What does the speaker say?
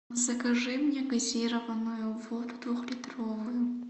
закажи мне газированную воду двухлитровую